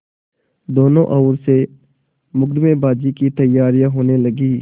दोनों ओर से मुकदमेबाजी की तैयारियॉँ होने लगीं